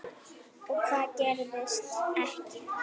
Og hvað gerðist ekki.